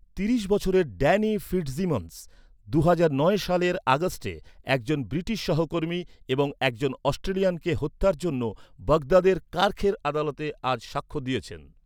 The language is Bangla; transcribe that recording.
তিরিশ বছরের ড্যানি ফিটজিমন্স, দুহাজার নয় সালের আগস্টে একজন ব্রিটিশ সহকর্মী এবং একজন অস্ট্রেলিয়ানকে হত্যার জন্য বাগদাদের কার্খের আদালতে আজ সাক্ষ্য দিয়েছেন।